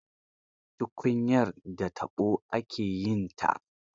Tukunyar da da taɓo ake yinta.